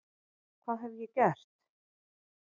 Hvað hef ég gert?